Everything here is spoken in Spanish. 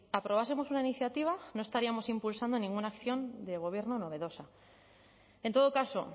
aprobásemos una iniciativa no estaríamos impulsando ninguna acción de gobierno novedosa en todo caso